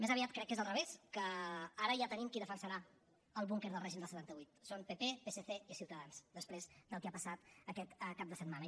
més aviat crec que és al revés que ara ja tenim qui defensarà el búnquer del règim del setanta vuit són pp psc i ciutadans després del que ha passat aquest cap de setmana